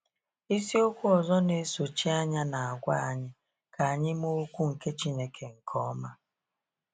Isi okwu ọzọ n'esochi anya na-agwa anyị 'ka anyị mee okwu nke Chineke nke ọma.